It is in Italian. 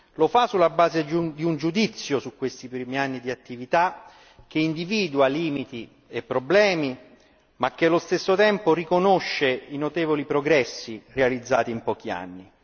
Lo fa sulla base di un giudizio su questi primi anni di attività che individua limiti e problemi, ma che allo stesso tempo riconosce i notevoli progressi realizzati in pochi anni.